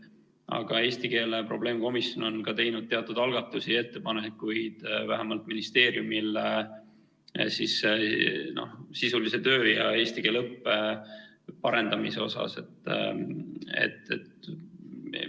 Aga eesti keele probleemkomisjon on vähemalt teinud teatud algatusi ja ettepanekuid ministeeriumile sisulise töö ja eesti keele õppe parendamise kohta.